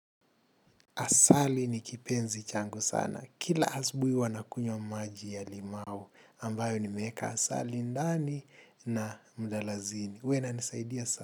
Asali ni kipenzi changu sana. Kila asubuhi huwa nakunywa maji ya limau. Ambayo nimeeka asali ndani na mdalasini. Huwa inanisaidia sana.